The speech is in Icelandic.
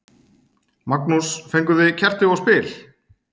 Magnús: Fenguð þið kerti og spil?